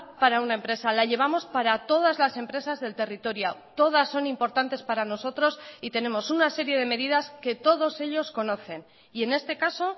para una empresa la llevamos para todas las empresas del territorio todas son importantes para nosotros y tenemos una serie de medidas que todos ellos conocen y en este caso